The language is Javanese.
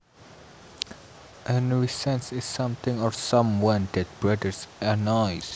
A nuisance is something or someone that bothers or annoys